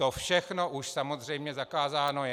To všechno už samozřejmě zakázáno je.